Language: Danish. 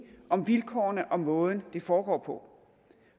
om vilkårene og måden det foregår på